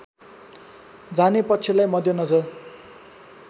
जाने पक्षलाई मध्यनजर